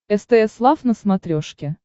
стс лав на смотрешке